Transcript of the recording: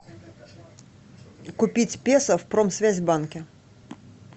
купить песо в промсвязьбанке